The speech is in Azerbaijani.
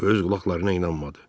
Öz qulaqlarına inanmadı.